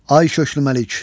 Ay köklü məlik.